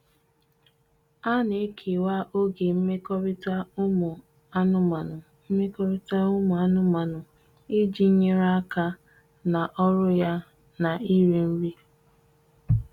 A nan ekewa oge nmekọrita umu anụmanụ nmekọrita umu anụmanụ iji nyere aka na ọrụ ya na iri nri.